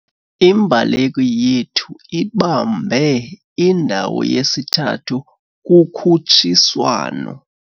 Imbaleki yethu ibambe indawo yesithathu kukhutshiswano.